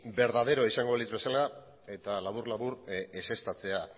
berdaderoa izango balitz bezala eta labur labur ezeztatzea